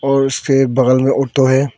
और उसके बगल मे ऑटो है।